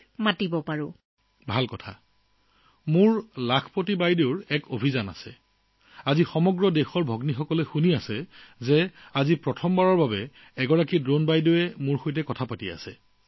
মোৰ জীৱনৰ এটা লক্ষ্য হৈছে লাখপতি দিদি গঢ় দিয়া যদি আজি দেশৰ ভগ্নীসকলে এই খণ্ডটো শুনি আছে তেন্তে জানি থওক যে আজি প্ৰথমবাৰৰ বাবে ড্ৰোন দিদিয়ে আমাৰ লগত কথা পাতিছে